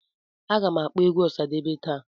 Agam akpọ egwu Osadebe taa